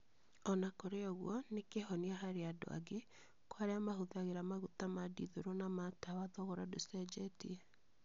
O na kũrĩ ũguo, nĩ kĩhonia harĩ andu angĩ. Kwa arĩa mahũthagĩra maguta ma dithũrũ na ma tawa thogora ndũcenjetie.